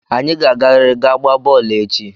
Anyị ga-agarịrị ga gbaa bọọlụ echi!